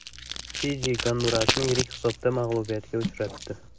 Fiji Gondurasni yirik hisobda mag‘lubiyatga uchratdi.